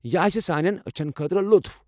یہِ آسہِ سانٮ۪ن أچھَن خٲطرٕ لُطُف۔